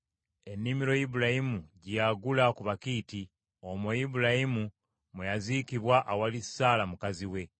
ennimiro Ibulayimu gye yagula ku Bakiiti. Omwo Ibulayimu mwe yaziikibwa awali Saala mukazi we.